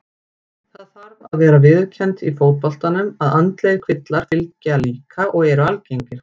Það þarf að vera viðurkennt í fótboltanum að andlegir kvillar fylgja líka og eru algengir.